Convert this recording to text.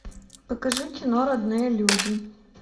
покажи кино родные люди